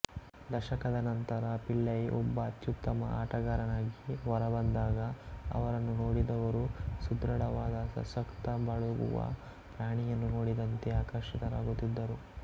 ದಶಕದ ನಂತರ ಪಿಳ್ಳೈ ಒಬ್ಬ ಅತ್ಯುತ್ತಮ ಆಟಗಾರನಾಗಿ ಹೊರಬಂದಾಗ ಅವರನ್ನು ನೋಡಿದವರು ಸುಧೃಡವಾದ ಸಶಕ್ತ ಬಳಕುವ ಪ್ರಾಣಿಯನ್ನು ನೋಡಿದಂತೆ ಆಕರ್ಷಿತರಾಗುತ್ತಿದ್ದರು